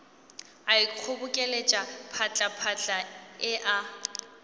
a ikgobokeletša phatlaphatla e a